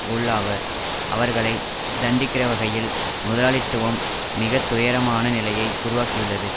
உள்ளாவர் அவர்களை தண்டிக்கிறவகையில் முதலாளித்துவம் மிகத்துயரமான நிலையை உருவாக்கியுள்ளது